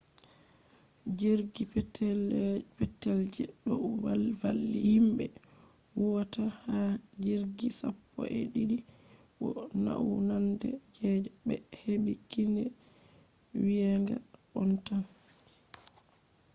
jirgi petel je do valli himbe huwata ha jirgi sappo-e-didi bo naunande je be hebi kine yewinga on tan